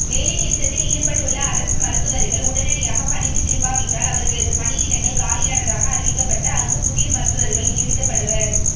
வேலைநிறுத்தத்தில் ஈடுபட்டுள்ள அரசு மருத்துவா்கள் உடனடியாகப் பணிக்குத் திரும்பாவிட்டால் அவா்களது பணியிடங்கள் காலியானதாக அறிவிக்கப்பட்டு அங்கு புதிய மருத்துவா்கள் நியமிக்கப்படுவா்